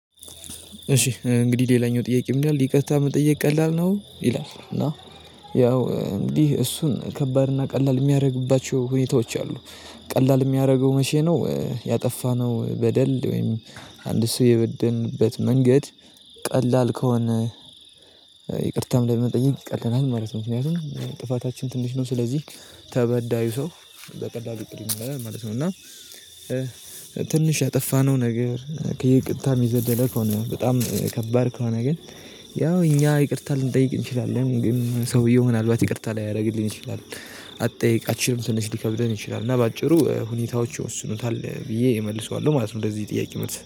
እሺ እንግዲህ ሌላኛው ጥያቄ ምን ይላል? ይቅርታ መጠየቅ ቀላል ነው ይላል። እና ያው እንግዲህ እሱን ከባድና ቀላል የሚያደርግባቸው ሁኔታዎች አሉ። ቀላል የሚያደርገው መቼ ነው? ያጠፋነው በደል ወይም አንድ ሰው የበደልንበት መንገድ። ቀላል ከሆነ ይቅርታም ለመጠየቅ ይቀለናል ማለት ነው። ምክንያቱም ጥፋታችንም ትንሽ ነው። ስለዚህ ተበዳዩ ሰው በቀላሉ ይቅርም ይለናል ማለት ነው። እና ትንሽ ያጠፋነው ነገር ከይቅርታም የዘለለ ከሆነ በጣም ከባድ ከሆነ ግን። ያው እኛ ይቅርታ ልንጠይቅ እንችላለን ግን ሰውየው ምንአልባት ይቅርታ ላያደርግልን ይችላል። አትጠይቃችንም ስንች ሊከብደን ይችላል። እና በአጭሩ ሁኔታዎች ወስኑታል ብዬ እመልሰዋለሁ ማለት ነው። እንደዚህ ጥያቄ መልሰህ